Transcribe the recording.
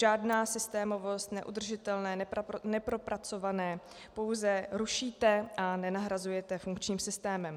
Žádná systémovost, neudržitelné, nepropracované, pouze rušíte a nenahrazujete funkčním systémem.